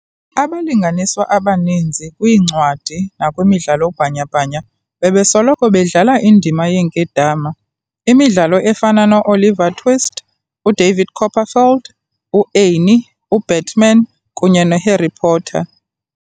Abalinganiswa abaninzi kwiincwadi nakwimidlalo bhanya-bhanya, bebesoloko bedlala indima yeenkedama, imidlalo efana no-Oliver Twist, u-David Copperfield, u-Annie, u-Batman, kunye no-Harry Potter.